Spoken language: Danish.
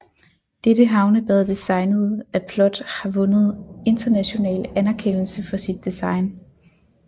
Dette havnebad designet af PLOT har vundet international anerkendelse for sit design